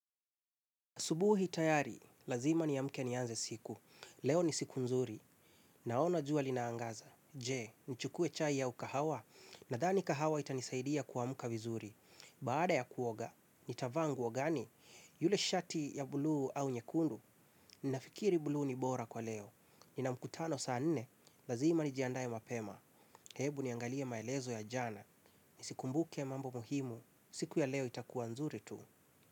Asubuhi tayari, lazima niamke nianze siku. Leo ni siku nzuri. Naona jua linaangaza. Je, nichukue chai au kahawa. Nadhani kahawa itanisaidia kuamka vizuri. Baada ya kuoga, nitavaa nguo gani? Yule shati ya buluu au nyekundu, ninafikiri buluu ni bora kwa leo. Nina mkutano saa nnne, lazima nijiandae mapema. Hebu niangalie maelezo ya jana. Nisikumbuke mambo muhimu. Siku ya leo itakuwa nzuri tu.